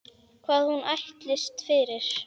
Hvað hún ætlist fyrir.